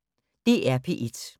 DR P1